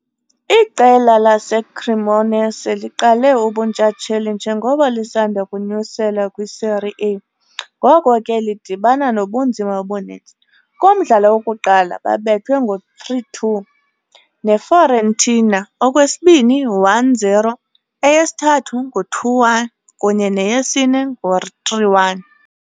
Iqela laseCremonese liqala ubuntshatsheli njengoko lisanda kunyuselwa kwiSerie A, ngoko ke lidibana nobunzima obuninzi. Kumdlalo wokuqala babethwa ngo'3-2 neFiorentina, kowesibini 1-0 Eyesithathu 2-1 kunye neyesine 3-1.